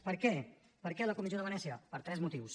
per què per què la comissió de venècia per tres motius